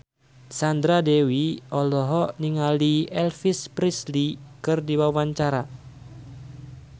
Sandra Dewi olohok ningali Elvis Presley keur diwawancara